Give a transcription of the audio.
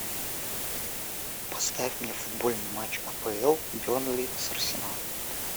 поставь мне футбольный матч апл бернли с арсеналом